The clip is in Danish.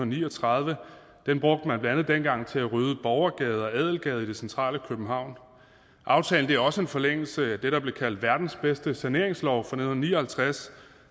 ni og tredive den brugte man dengang til at rydde borgergade og adelgade i det centrale københavn aftalen er også en forlængelse af det der blev kaldt verdens bedste saneringslov fra nitten ni og halvtreds